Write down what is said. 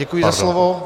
Děkuji za slovo.